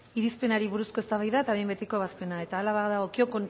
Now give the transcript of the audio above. irizpenari buruzko eztabaida eta behin betiko ebazpena eta hala badagokio